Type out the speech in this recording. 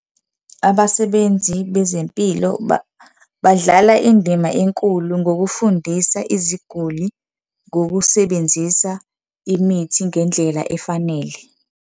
Abasebenzi bezempilo badlala indima enkulu ngokufundisa iziguli ngokusebenzisa imithi ngendlela efanele.